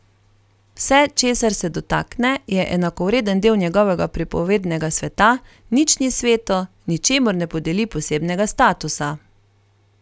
Vse, česar se dotakne, je enakovreden del njegovega pripovednega sveta, nič ni sveto, ničemur ne podeli posebnega statusa.